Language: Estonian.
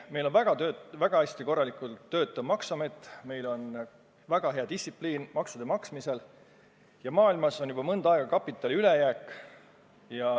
Meil on väga hästi töötav maksuamet, meil on väga hea distsipliin maksude maksmisel ja maailmas on juba mõnda aega kapitali ülejääk.